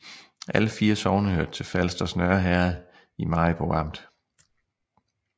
Alle 4 sogne hørte til Falsters Nørre Herred i Maribo Amt